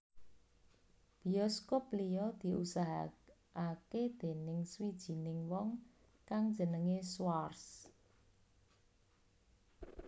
Biyoskup liya diusahakaké déning swijining wong kang jenengé Schwarz